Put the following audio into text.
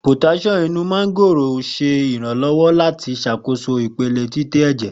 Potasiomu ti o wa ninu mángóòrò ṣe iranlọwọ lati ṣakoso ipele titẹ ẹjẹ